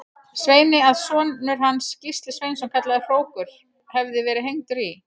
Sveini að sonur hans, Gísli Sveinsson kallaður hrókur, hefði verið hengdur í